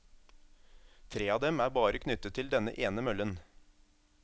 Tre av dem er bare knyttet til denne ene møllen.